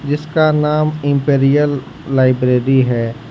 इसका नाम imperial library है।